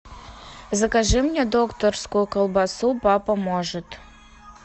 закажи мне докторскую колбасу папа может